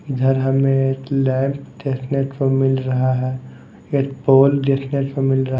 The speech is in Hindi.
इधर हमें एक लैंप देखने को मिल रहा है एक पोल देखने को मिल रहा--